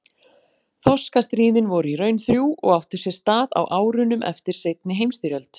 Þorskastríðin voru í raun þrjú og áttu sér stað á árunum eftir seinni heimsstyrjöld.